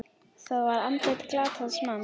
Það var andlit glataðs manns.